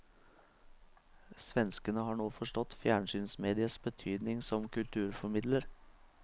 Svenskene har nå forstått fjernsynsmediets betydning som kulturformidler.